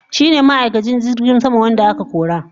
shine ma'aikacin jirgin sama wanda aka kora.